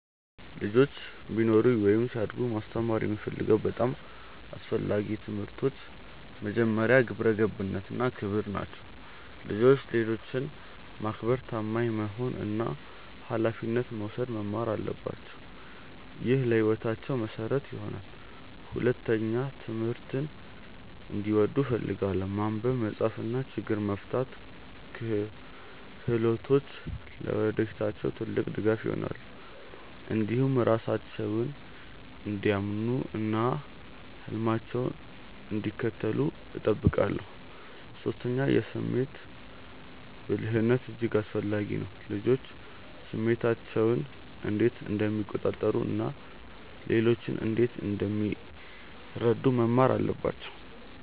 ልጆች ቢኖሩኝ ወይም ሲያድጉ ማስተማር የምፈልገው በጣም አስፈላጊ ትምህርቶች መጀመሪያ፣ ግብረ ገብነት እና ክብር ናቸው። ልጆች ሌሎችን ማክበር፣ ታማኝ መሆን እና ኃላፊነት መውሰድ መማር አለባቸው። ይህ ለሕይወታቸው መሠረት ይሆናል። ሁለተኛ፣ ትምህርትን እንዲወዱ እፈልጋለሁ። ማንበብ፣ መጻፍ እና ችግኝ መፍታት ክህሎቶች ለወደፊታቸው ትልቅ ድጋፍ ይሆናሉ። እንዲሁም ራሳቸውን እንዲያምኑ እና ህልማቸውን እንዲከተሉ እጠብቃለሁ። ሶስተኛ፣ የስሜት ብልህነት እጅግ አስፈላጊ ነው። ልጆች ስሜታቸውን እንዴት እንደሚቆጣጠሩ እና ሌሎችን እንዴት እንደሚረዱ መማር አለባቸው